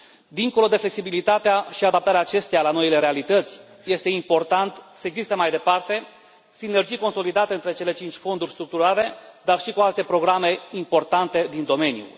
Dincolo de flexibilitatea și adaptarea acesteia la noile realități, este important să existe mai departe sinergii consolidate între cele cinci fonduri structurale, dar și cu alte programe importante din domeniu.